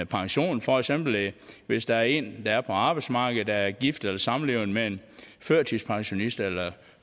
pension for eksempel hvis der er en der er på arbejdsmarkedet og er gift eller samlevende med en førtidspensionist eller